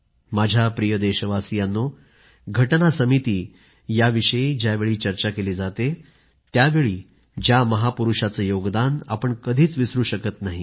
माझ्या प्रिय देशवासियांनो राज्यघटना समिती याविषयी ज्यावेळी चर्चा केली जाते त्यावेळी ज्या महापुरुषाचे योगदान आपण कधीच विसरू शकत नाही